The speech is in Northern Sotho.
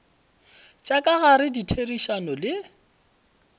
tša ka gare ditherišano le